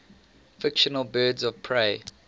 fictional birds of prey